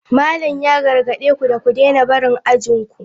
Malam ya gargade ku da ku daina barin ajin ku.